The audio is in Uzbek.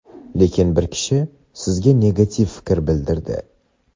lekin bir kishi sizga negativ fikr bildirdi.